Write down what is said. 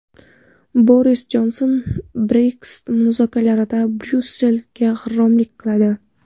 Boris Jonson: Brexit muzokaralarida Bryussel g‘irromlik qiladi.